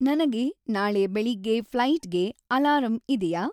ನನಗೆ ನಾಳೆ ಬೆಳಿಗ್ಗೆ ಫ್ಲೈಟ್‌ಗೆ ಅಲಾರಂ ಇದಿಯಾ